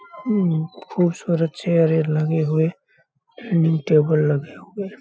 म्म बहुत सारे चेयरें लगे हुए डाइनिंग टेबल लगे हुए।